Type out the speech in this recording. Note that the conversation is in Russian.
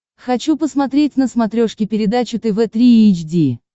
хочу посмотреть на смотрешке передачу тв три эйч ди